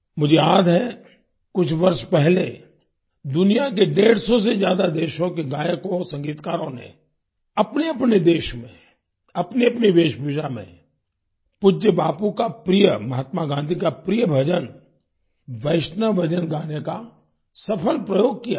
मुझे याद है कुछ वर्ष पहले दुनिया के डेढ़ सौ से ज्यादा देशों के गायकोंसंगीतकारों ने अपनेअपने देश में अपनीअपनी वेशभूषा में पूज्य बापू का प्रिय महात्मा गाँधी का प्रिय भजन वैष्णव जन गाने का सफल प्रयोग किया था